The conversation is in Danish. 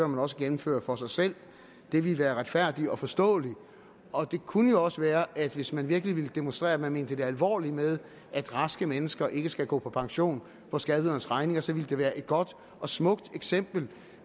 man også gennemføre for sig selv det ville være retfærdigt og forståeligt og det kunne jo også være at hvis man virkelig ville demonstrere at man mente det alvorligt med at raske mennesker ikke skal gå på pension for skatteydernes regning så ville det være et godt og smukt eksempel